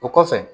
O kɔfɛ